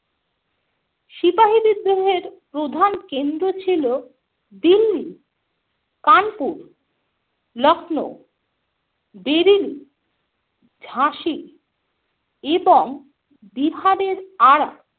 সিপাহি বিদ্রোহের প্রধান কেন্দ্র ছিল দিল্লি, কানপুর, লখনও, বেরিলি, ঝাঁসি এবং বিহারের আরা।